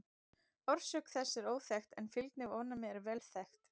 Orsök þess er óþekkt en fylgni við ofnæmi er vel þekkt.